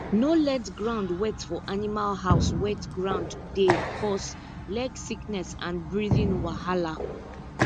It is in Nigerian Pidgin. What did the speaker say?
no let ground wet for animal house wet ground dey cause leg sickness and breathing wahala